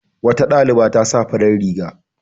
Wata ɗaliba ta sa farar riga.